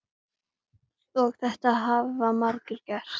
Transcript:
Og þetta hafa margir gert.